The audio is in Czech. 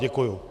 Děkuju.